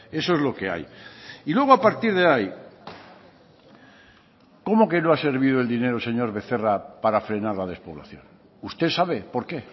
eso es lo que hay y luego a partir de ahí cómo que no ha servido el dinero señor becerra para frenar la despoblación usted sabe por qué